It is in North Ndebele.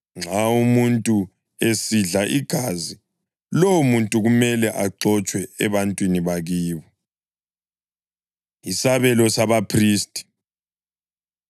Nxa umuntu esidla igazi, lowomuntu kumele axotshwe ebantwini bakibo.’ ” Isabelo SabaPhristi